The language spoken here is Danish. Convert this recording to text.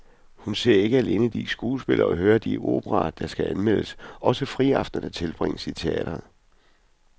Hun ser ikke alene de skuespil og hører de operaer, der skal anmeldes, også friaftenerne tilbringes i teatret.